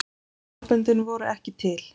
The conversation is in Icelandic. armböndin voru ekki til.